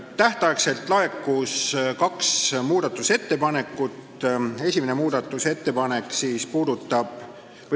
Tähtaegselt laekus kaks muudatusettepanekut.